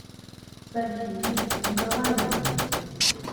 софию николаевну